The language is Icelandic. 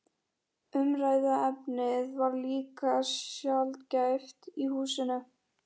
Umræðuefnið var líka sjaldgæft í húsinu.